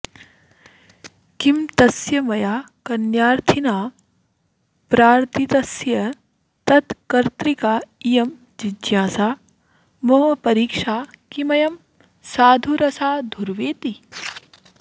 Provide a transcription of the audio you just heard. किं तस्य मया कन्यार्थिना प्रार्तितस्य तत्कर्तृका इयं जिज्ञासा मम परीक्षा किमयं साधुरसाधुर्वेति